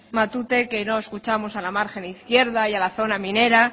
matute que no escuchamos a la margen izquierda y a la zona minera